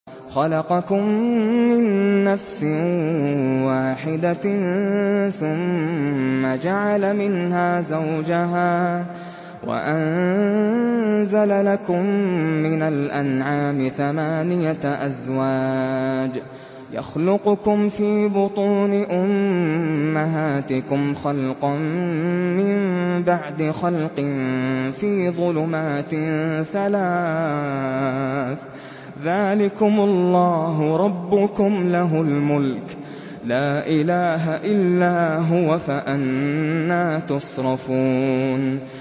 خَلَقَكُم مِّن نَّفْسٍ وَاحِدَةٍ ثُمَّ جَعَلَ مِنْهَا زَوْجَهَا وَأَنزَلَ لَكُم مِّنَ الْأَنْعَامِ ثَمَانِيَةَ أَزْوَاجٍ ۚ يَخْلُقُكُمْ فِي بُطُونِ أُمَّهَاتِكُمْ خَلْقًا مِّن بَعْدِ خَلْقٍ فِي ظُلُمَاتٍ ثَلَاثٍ ۚ ذَٰلِكُمُ اللَّهُ رَبُّكُمْ لَهُ الْمُلْكُ ۖ لَا إِلَٰهَ إِلَّا هُوَ ۖ فَأَنَّىٰ تُصْرَفُونَ